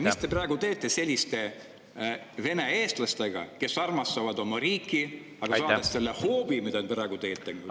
Mis te praegu teete selliste vene-eestlastega, kes armastavad oma riiki, aga saades selle hoobi, mille te praegu …